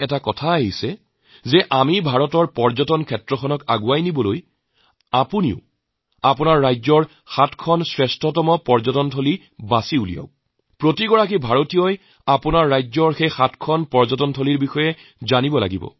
মই এটা বিষয় ভাবিছো ভাৰতৰ পৰ্যটন উদ্যোগৰ উন্নতিৰ বাবে আপোনালোকে যদি নিজৰ নিজৰ ৰাজ্যৰ সাতটি এনে পৰ্যটন ক্ষেত্ৰ দিয়ক প্ৰত্যেক ভাৰতবাসীক নিজৰ ৰাজ্যৰ এই সাতটি দিশৰ বিষয়ে জনা দৰকাৰ